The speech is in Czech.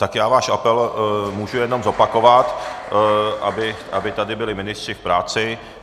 Tak já váš apel můžu jenom zopakovat, aby tady byli ministři v práci.